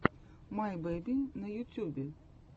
мэй бэби на ютюбе